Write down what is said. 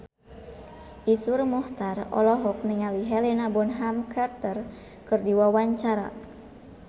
Iszur Muchtar olohok ningali Helena Bonham Carter keur diwawancara